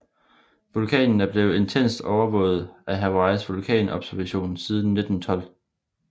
Vulkanen er blevet intenst overvåget af Hawaiis vulkanobservatorium siden 1912